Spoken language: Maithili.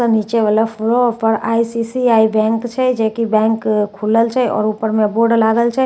नीचे वला फ्लोर पर आई_सी_सी_आई बैंक छै जैकी बैंक खुलल छै आओर ऊपर मे बोर्ड लागल छै --